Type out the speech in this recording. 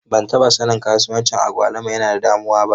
Ban taɓa sanin kasuwancin agwaluma yana da damuwa ba.